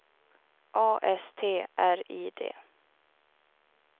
A S T R I D